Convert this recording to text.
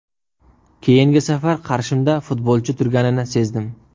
Keyingi safar qarshimda futbolchi turganini sezdim.